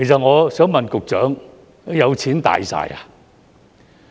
我想問局長，有錢"大晒"嗎？